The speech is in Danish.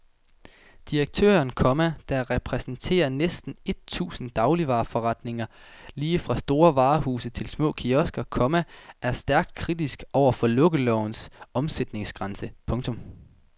Direktøren, komma der repræsenterer næsten et tusind dagligvareforretninger lige fra store varehuse til små kiosker, komma er stærkt kritisk over for lukkelovens omsætningsgrænse. punktum